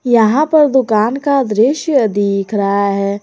यहां पर दुकान का दृश्य दिख रहा हैं।